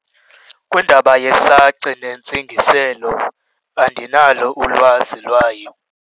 Kwindaba yesaci nentsingiselo, andinalo ulwazi lwayo.